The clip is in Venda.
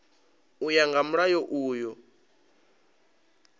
u ya nga mulayo uyu